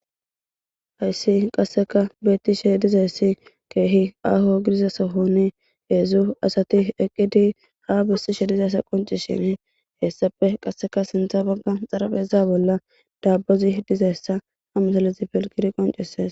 hayssi qasseka beettishe dizayssi keehi aho gidiza sohoni heedzdzu asati eqqidi ha bissishe dizayssa qoncishin heessape qasseka sintha bagga xarafeza bolla daabozi dizayssa hamasalezi pilgidi qonceses